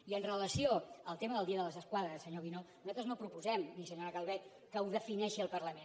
i amb relació al tema del dia de les esquadres senyor guinó nosaltres no proposem i senyora calvet que ho defineixi el parlament